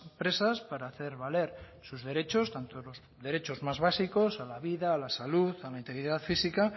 presas para hacer valer sus derechos tanto los derechos más básicos a la vida a la salud a la integridad física